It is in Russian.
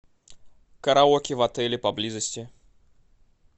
караоке в отеле поблизости